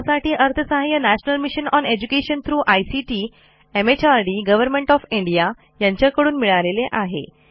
यासाठी National Mission on Education through ICT MHRD यांच्याकडून अर्थसहाय्य मिळालेले आहे